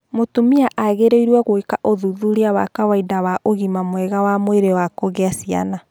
Mũtumia agĩrĩirũo gwĩka ũthuthuria wa kawaida wa ũgima mwega wa mwĩrĩ wa kũgĩa ciana.